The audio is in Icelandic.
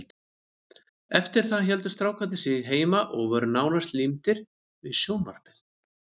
Eftir það héldu strákarnir sig heima og voru nánast límdir við sjónvarpið.